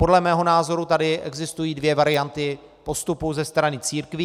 Podle mého názoru tady existují dvě varianty postupu ze strany církví.